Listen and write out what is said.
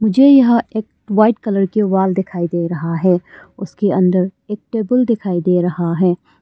जो यह एक वाइट कलर के वॉल दिखाई दे रहा है उसके अंदर एक टेबल दिखाई दे रहा है।